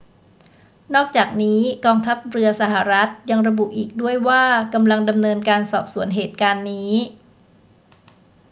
นอกจากนี้ กองทัพเรือสหรัฐฯ ยังระบุอีกด้วยว่ากำลังดำเนินการสอบสวนเหตุการณ์นี้